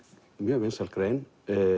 mjög vinsæl grein